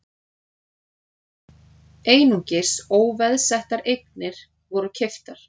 Einungis óveðsettar eignir voru keyptar